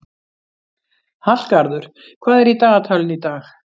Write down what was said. Hallgarður, hvað er í dagatalinu í dag?